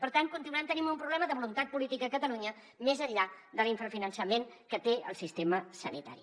per tant continuem tenint un problema de voluntat política a catalunya més enllà de l’infrafinançament que té el sistema sanitari